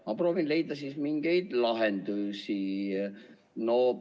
Ma proovin leida siis mingeid lahendusi.